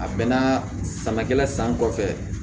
A bɛnna samakɛla san kɔfɛ